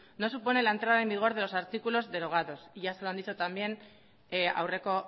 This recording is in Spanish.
no supone la entrada en vigor de los artículos derogados ya se lo han dicho también aurreko